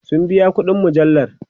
sun biya ƙuɗin mujallar